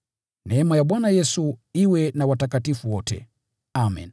Neema ya Bwana Yesu iwe na watakatifu wote. Amen.